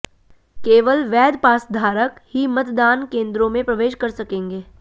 केवल वैध पासधारक ही मतदान केन्द्रों में प्रवेश कर सकेंगे